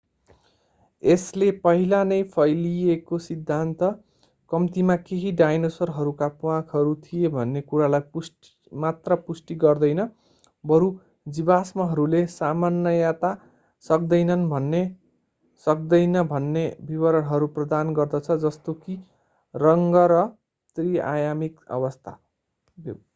यसले पहिला नै फैलिएको सिद्धान्त कम्तीमा केही डायनासोरहरूका प्वाँखहरू थिए भन्ने कुरालाई मात्र पुष्टि गर्दैन बरु जीवाश्महरूले सामान्यतया सक्दैनन् भन्ने सक्दैन भन्ने विवरणहरू प्रदान गर्दछ जस्तो कि रङ्ग र त्रि-आयामिक व्यवस्था